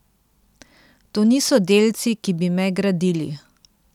To niso delci, ki bi me gradili.